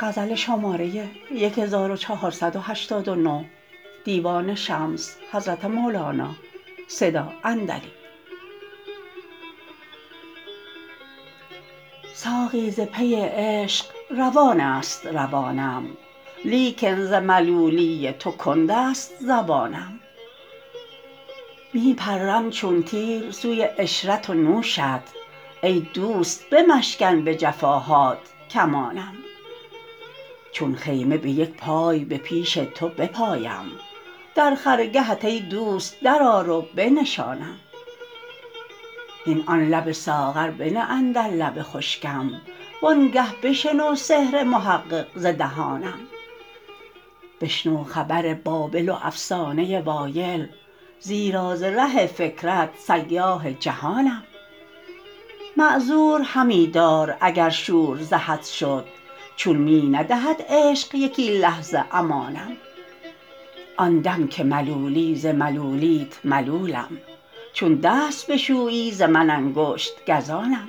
ساقی ز پی عشق روان است روانم لیکن ز ملولی تو کند است زبانم می پرم چون تیر سوی عشرت و نوشت ای دوست بمشکن به جفاهات کمانم چون خیمه به یک پای به پیش تو بپایم در خرگهت ای دوست درآر و بنشانم هین آن لب ساغر بنه اندر لب خشکم وانگه بشنو سحر محقق ز دهانم بشنو خبر بابل و افسانه وایل زیرا ز ره فکرت سیاح جهانم معذور همی دار اگر شور ز حد شد چون می ندهد عشق یکی لحظه امانم آن دم که ملولی ز ملولیت ملولم چون دست بشویی ز من انگشت گزانم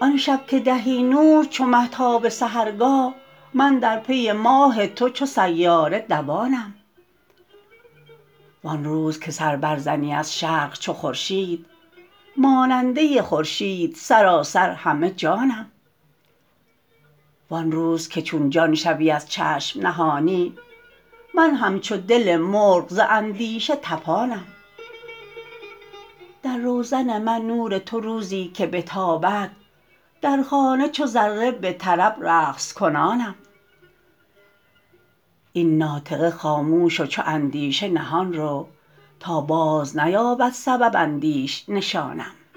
آن شب که دهی نور چو مه تا به سحرگاه من در پی ماه تو چو سیاره دوانم وان روز که سر برزنی از شرق چو خورشید ماننده خورشید سراسر همه جانم وان روز که چون جان شوی از چشم نهانی من همچو دل مرغ ز اندیشه طپانم در روزن من نور تو روزی که بتابد در خانه چو ذره به طرب رقص کنانم این ناطقه خاموش و چو اندیشه نهان رو تا بازنیابد سبب اندیش نشانم